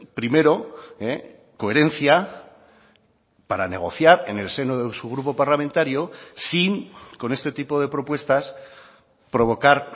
primero coherencia para negociar en el seno de su grupo parlamentario sin con este tipo de propuestas provocar